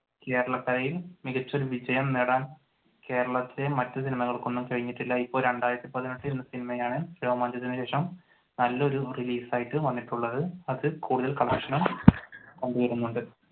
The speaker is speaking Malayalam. കേരളക്കരയിൽ മികച്ച ഒരു വിജയം നേടാൻ കേരളത്തിലെ മറ്റു സിനിമകൾക്ക് ഒന്നും കഴിഞ്ഞിട്ടില്ല. ഇപ്പൊ രണ്ടായിരത്തി പതിനെട്ടു എന്ന സിനിമയാണ് രോമാഞ്ചത്തിന്‌ ശേഷം നല്ല ഒരു റിലീസ് ആയിട്ട് വന്നിട്ടുള്ളത്. അത് കൂടുതൽ കൊണ്ട് വരുന്നുണ്ട്.